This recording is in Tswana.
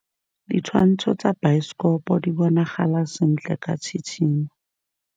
Ditshwantshô tsa biosekopo di bonagala sentle ka tshitshinyô.